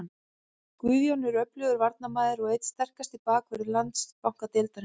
Guðjón er öflugur varnarmaður og einn sterkasti bakvörður Landsbankadeildarinnar.